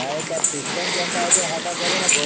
ତାର system ଯାହା ସେ ତାହା କରୁଛି ନା